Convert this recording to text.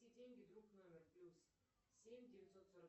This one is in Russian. деньги друн номер плюс семь девятьсот сорок